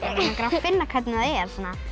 finna hvernig það er